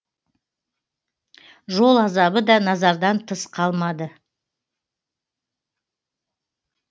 жол азабы да назардан тыс қалмады